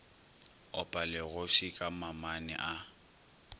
opa legofsi ka mamane a